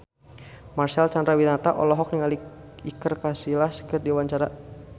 Marcel Chandrawinata olohok ningali Iker Casillas keur diwawancara